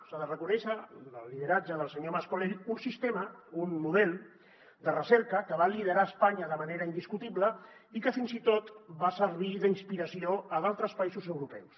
s’ha de reconèixer el lideratge del senyor mas colell un sistema un model de recerca que va liderar a espanya de manera indiscutible i que fins i tot va servir d’inspiració a altres països europeus